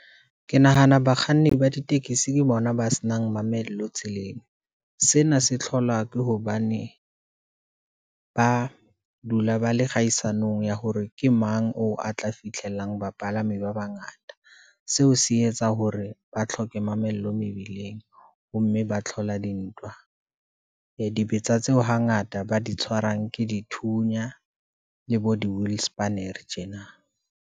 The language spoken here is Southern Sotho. Ke nahana bakganni ba ditekesi ke bona ba senang mamello tseleng, sena se tlhola ke hobane ba dula ba le kgahisano ya hore ke mang oo a tla fitlhelang bapalami ba bangata. Seo se etsa hore ba tlhoke mamello mebileng, ho mme ba tlhola dintwa. Ee dibetsa tseo hangata ba di tshwarang ke dithunya, le bo di-will spanere tjena.